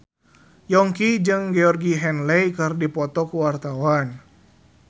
Yongki jeung Georgie Henley keur dipoto ku wartawan